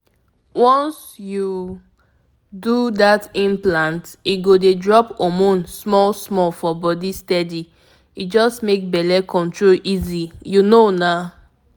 once you do that implant e go dey drop hormone small-small for body steady — e just make belle control easy you know na!